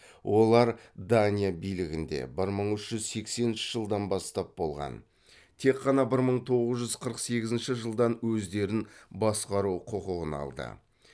олар дания билігінде бір мың үш жүз сексенінші жылдан бастап болған тек қана бір мың тоғыз жүз қырық сегізінші жылдан өздерін басқару құқығын алды